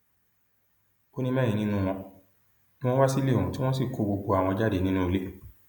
ó ní mẹrin nínú wọn ni wọn wá sílé òun tí wọn sì kó gbogbo àwọn jáde nínú ilé